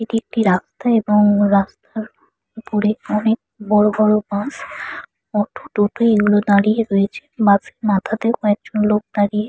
এটি একটি রাস্তা এবং রাস্তার উপরে অনেক বড় বড় বাস অটো টোটো এগুলো দাঁড়িয়ে রয়েছে। বাস -এর মাথাতেও কয়েকজন লোক দাঁড়িয়ে--